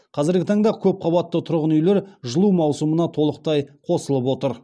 қазіргі таңда көпқабатты тұрғын үйлер жылу маусымына толықтай қосылып отыр